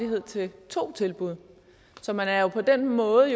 til to tilbud så man er jo på den måde